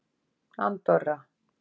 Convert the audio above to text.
Andorra